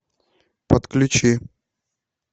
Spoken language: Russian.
подключи